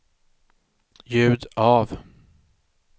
ljud av